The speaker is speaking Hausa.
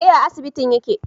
Eh a asibitin yake